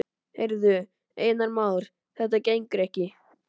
Heyrðu, Einar Már, þetta gengur ekki.